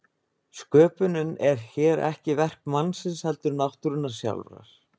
Sköpunin er hér ekki verk mannsins heldur náttúrunnar sjálfrar.